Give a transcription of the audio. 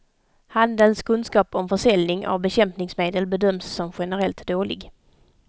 Handelns kunskap om försäljning av bekämpningsmedel bedöms som generellt dålig.